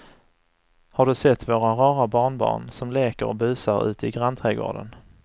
Har du sett våra rara barnbarn som leker och busar ute i grannträdgården!